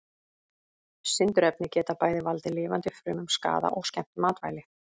Sindurefni geta bæði valdið lifandi frumum skaða og skemmt matvæli.